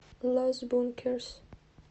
лос бункерс